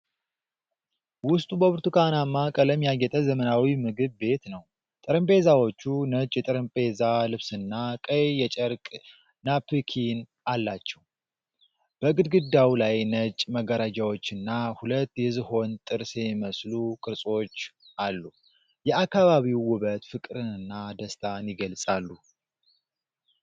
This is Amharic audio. ውስጡ በብርቱካናማ ቀለም ያጌጠ ዘመናዊ ምግብ ቤት ነው። ጠረጴዛዎቹ ነጭ የጠረጴዛ ልብስና ቀይ የጨርቅ ናፕኪን አላቸው። በግድግዳው ላይ ነጭ መጋረጃዎችና ሁለት የዝሆን ጥርስ የሚመስሉ ቅርጾች አሉ። የአካባቢው ውበት ፍቅርንና ደስታን ይገልፃሉ።